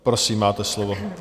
Prosím, máte slovo.